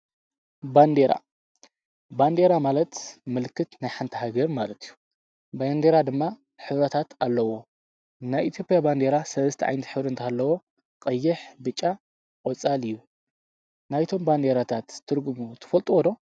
በንዴራ፡-ባንዴራ ማለት ምልክት ናይ ሓንቲ ሃገር ማለት እዩ፡፡ ባንዴራ ድማ ሕብርታት ኣለዎ፡፡ ናይ ኢትዮጵያ ባንዴራ ሠስተ ዓይነት ሕብሩ እንተህልዎ ቐይሕ፣ ብጫን ቆፃልን እዩ፡፡ ናይቶም ባንዴራታት ትርግሙ ትፈልጦዎ ዶ?